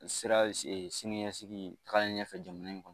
Sira sini ɲɛsigi tagalen ɲɛfɛ jamana in kɔnɔ